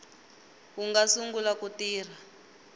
wu nga sungula ku tirha